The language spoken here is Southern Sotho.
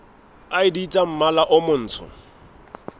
id tsa mmala o motsho